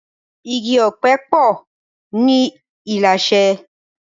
Igi òpè po ni Ilashe